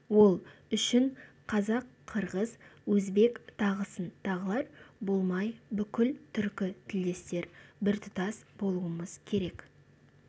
ол үшін қазақ қырғыз өзбек тағысын тағылар болмай бүкіл түркі тілдестер біртұтас болуымыз керек